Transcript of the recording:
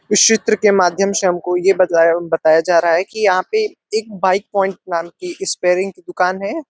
इस चित्र के माध्यम से हमको ये बतलाया बताया जा रहा है कि जहा पे एक बाइक पॉइंट नाम की एक स्पेरिंग की दुकान है।